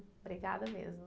Obrigada mesmo.